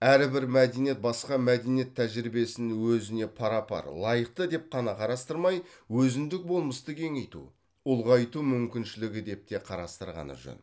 әрбір мәдениет басқа мәдениет тәжірибесін өзіне пара пар лайықты деп қана қарастырмай өзіндік болмысты кеңейту ұлғайту мүмкіншілігі деп те қарастырғаны жөн